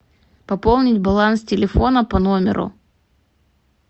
пополнить баланс телефона по номеру